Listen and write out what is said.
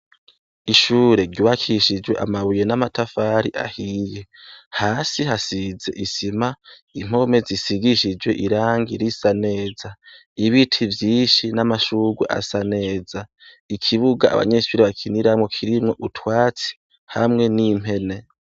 Ishure ryubakishijwe amabuye n'amatafari ahiye. Hasi hasize isima, impome zisigishijwe irangi risa neza, ibiti vyishi n'amashurwe asa neza, ikibuga abanyeshure bakiniramo kirimwo utwatsi hamwe n'impene.